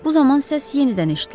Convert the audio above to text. Bu zaman səs yenidən eşidildi.